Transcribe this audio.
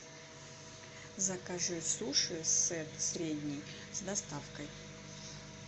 закажи суши сет средний с доставкой